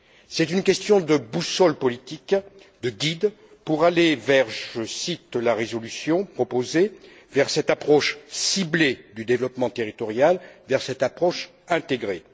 C'est une question de boussole politique, de guide pour aller, je cite la résolution proposée, vers cette approche ciblée du développement territorial, vers cette approche intégrée.